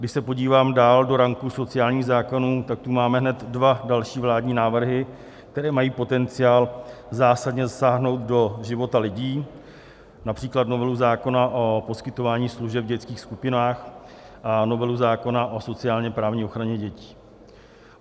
Když se podívám dál do ranku sociálních zákonů, tak tu máme hned dva další vládní návrhy, které mají potenciál zásadně zasáhnout do života lidí, například novelu zákona o poskytování služeb v dětských skupinách a novelu zákona o sociálně-právní ochraně dětí.